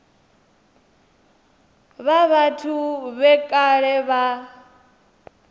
vha vhathu vhe kale vha